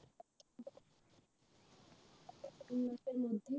তিন মাসের মধ্যে